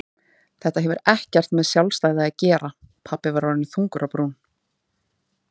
Þetta hefur ekkert með sjálfstæði að gera pabbi var orðinn þungur á brún.